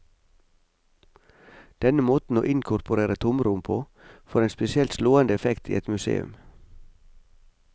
Denne måten å inkorporere tomrom på, får en spesielt slående effekt i et museum.